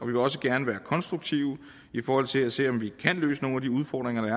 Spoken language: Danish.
vil også gerne være konstruktive i forhold til at se om vi kan løse nogle af de udfordringer der